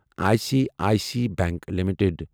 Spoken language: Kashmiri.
I C I C I bank limited